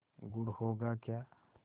गुड़ होगा क्या